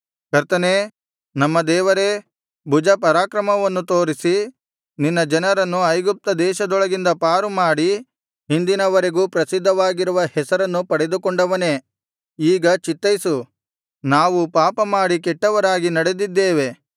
ಕರ್ತನೇ ನಮ್ಮ ದೇವರೇ ಭುಜಪರಾಕ್ರಮವನ್ನು ತೋರಿಸಿ ನಿನ್ನ ಜನರನ್ನು ಐಗುಪ್ತದೇಶದೊಳಗಿಂದ ಪಾರು ಮಾಡಿ ಇಂದಿನವರೆಗೂ ಪ್ರಸಿದ್ಧವಾಗಿರುವ ಹೆಸರನ್ನು ಪಡೆದುಕೊಂಡವನೇ ಈಗ ಚಿತ್ತೈಸು ನಾವು ಪಾಪಮಾಡಿ ಕೆಟ್ಟವರಾಗಿ ನಡೆದಿದ್ದೇವೆ